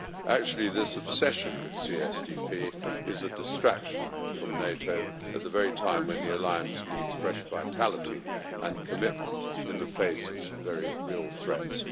Actually, this obsession with CSDP is a distraction from NATO at the very time when the Alliance needs fresh vitality and commitment in the face of some very real threats.